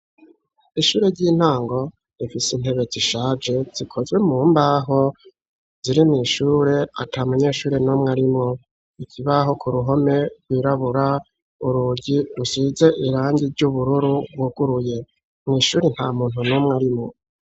Ishure ry'intango rifise intebe zishaje zikozwe mu mbaho ziri mw'ishure ata munyeshuri n'umwe arimwo. Ikibaho ku ruhome rwirabura, urugi rusize irangi ry'ubururu rwuguruye. Mw'ishuri nta muntu numwe urimwo.